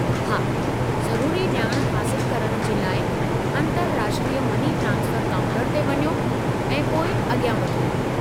हा, ज़रुरी ॼाण हासिलु करणु जे लाइ अंतर्राष्ट्रीय मनी ट्रांसफरु काउंटर ते वञो ऐं पोइ अॻियां वधो।